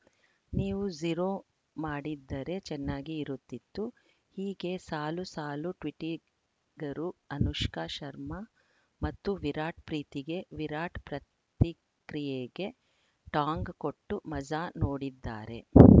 ನೀವು ಝೀರೋ ಮಾಡಿದ್ದರೆ ಚೆನ್ನಾಗಿ ಇರುತ್ತಿತ್ತು ಹೀಗೆ ಸಾಲು ಸಾಲು ಟ್ವಿಟ್ಟಿಗರು ಅನುಷ್ಕಾ ಶರ್ಮಾ ಮತ್ತು ವಿರಾಟ್‌ ಪ್ರೀತಿಗೆ ವಿರಾಟ್‌ ಪ್ರತಿಕ್ರಿಯೆಗೆ ಟಾಂಗ್‌ ಕೊಟ್ಟು ಮಜಾ ನೋಡಿದ್ದಾರೆ